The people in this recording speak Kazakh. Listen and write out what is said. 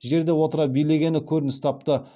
жерде отыра билегені көрініс тапты